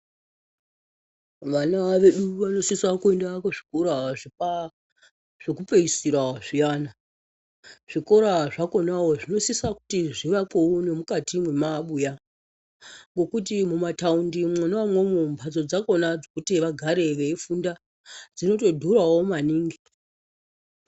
Vana vedu vanosisa kuenda kuzvikora zvekupeisira zviyani zvikora zvakonawo zvinosisa kuti zvivakwewo nemukati mwemabuya ngekuti mumataundi mwona imwomwo mbatso dzakona dzekuti vagare veifunda dzinotodhurawo maningi.